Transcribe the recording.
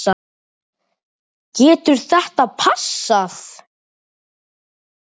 Getur þetta passað?